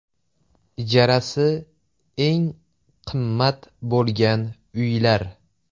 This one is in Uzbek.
Ijarasi eng qimmat bo‘lgan uylar.